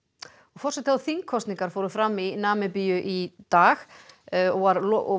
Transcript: forseta og þingkosningar fóru fram í Namibíu í dag og